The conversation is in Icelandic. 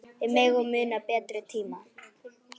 Við megum muna betri tíma.